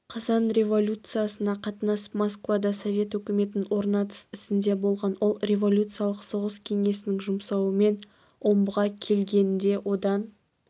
қазан революциясына қатынасып москвада совет өкіметін орнатыс ісінде болған ол революциялық соғыс кеңесінің жұмсауымен омбыға келген де одан